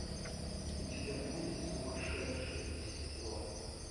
у тебя будет сумасшедшие за стеклом